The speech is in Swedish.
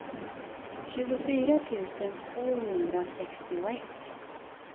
tjugofyra tusen tvåhundrasextioett